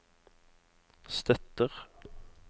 støtter